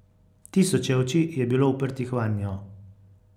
Tisoče oči je bilo uprtih vanjo.